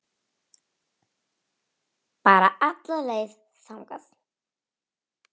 Bara alla leið þangað!